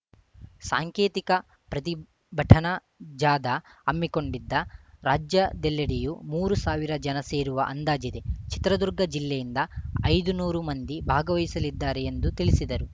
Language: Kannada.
ಸಾಂಕೇತಿಕ ಪ್ರತಿಭಟನಾ ಜಾಧಾ ಹಮ್ಮಿಕೊಂಡಿದ್ದ ರಾಜ್ಯದೆಲ್ಲೆಡೆಯು ಮೂರು ಸಾವಿರ ಜನ ಸೇರುವ ಅಂದಾಜಿದೆ ಚಿತ್ರದುರ್ಗ ಜಿಲ್ಲೆಯಿಂದ ಐದು ನೂರು ಮಂದಿ ಭಾಗವಹಿಸಲಿದ್ದಾರೆ ಎಂದು ತಿಳಿಸಿದರು